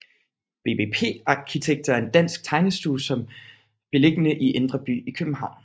BBP Arkitekter er en dansk tegnestue beliggende i Indre By i København